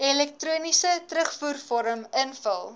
elektroniese terugvoervorm invul